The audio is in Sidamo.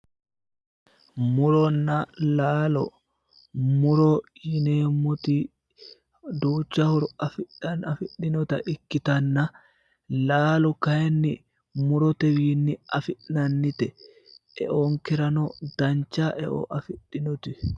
Muronna laalo muro yineemmoti duucha horo afidhinota ikkitanna laalo kayinni murotewiinni afi'nannite. Eonkerano dancha e'o afidhinote.